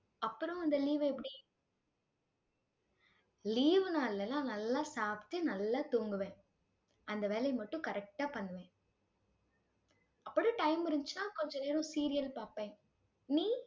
அப்புறம் அந்த leave எப்படி leave நாள்லாம் நல்ல சாப்பிட்டு, நல்லா தூங்குவேன், அந்த வேலைய மட்டும் correct ஆ பண்ணுவேன். அப்பறம் time இருந்துச்சுன்னா கொஞ்சநேரம் serial பாப்பேன் நீ